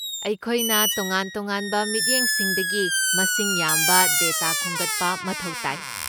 ꯑꯩꯈꯣꯏꯅ ꯇꯣꯉꯥꯟ ꯇꯣꯉꯥꯟꯕ ꯃꯤꯠꯌꯦꯡꯁꯤꯡꯗꯒꯤ ꯃꯁꯤꯡ ꯌꯥꯝꯕ ꯗꯦꯇꯥ ꯈꯣꯝꯒꯠꯄ ꯃꯊꯧ ꯇꯥꯏ꯫